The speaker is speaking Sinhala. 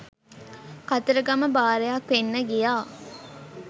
කතරගම බාරයක් වෙන්න ගියා.